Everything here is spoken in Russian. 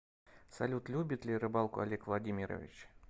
салют любит ли рыбалку олег владимирович